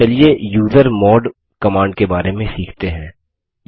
चलिए user mode command के बारे में सीखते हैं